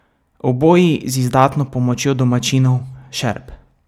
Oboji z izdatno pomočjo domačinov, šerp.